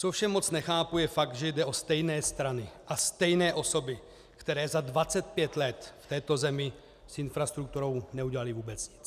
Co ovšem moc nechápu, je fakt, že jde o stejné strany a stejné osoby, které za 25 let v této zemi s infrastrukturou neudělaly vůbec nic.